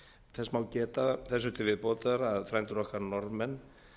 þess má geta þessu til viðbótar að frændur okkar norðmenn